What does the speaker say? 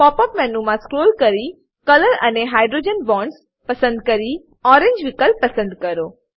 pop up મેનુમા scroll કરી colour અને હાઇડ્રોજન બોન્ડ્સ પસંદ કરીને ઓરેન્જ વિકલ્પ પસંદ કરો